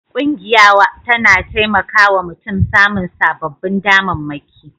Ƙungiya tana taimaka wa mutum samun sababbin damammaki